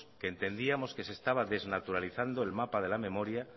que entendíamos que se estaba desnaturalizando el mapa de la memoria